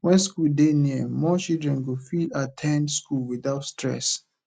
when school dey near more children go fit at ten d school without stress